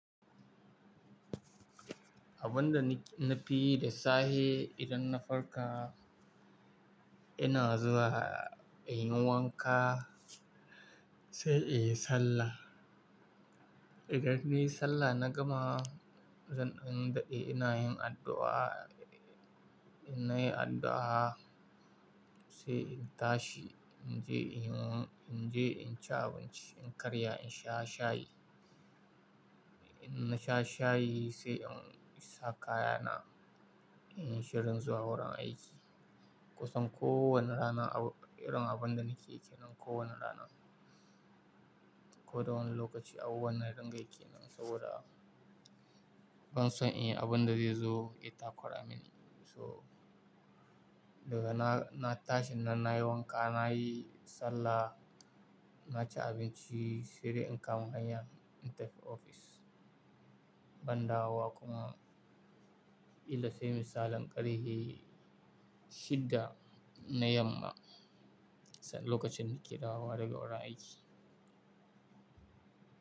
Abunda nafiyi da sahe idan na farka, ina zuwa in yi wanka sai in yi sallah. Idan niyi sallah na gama, zan dan dade ina yin addu'a. In nayi addu'a sai in tashi, in je in yi, in je in ci abinci, in karya in sha shayi. In na sha shayi sai in sa kaya na, inyi shirin zuwa wurin aiki. Kusan kowane rana irin abun da nake kenan kowane rana. Ko da wani lokaci abubuwan dana dingayi kenan saboda ban son in yi abun da zai zo ya takura mini. So daga na, na tashi na nayi wanka, nayi sallah, na ci abinci sai dai in kama hanyain tafi ofis. Ban dawowa kuma kila sai misalin karhe shidda na yamma, sa lokacin da nake dawowa daga wurin aiki.